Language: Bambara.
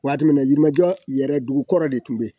Waati min na yirimajɔ yɛrɛ dugukɔrɔ de tun bɛ yen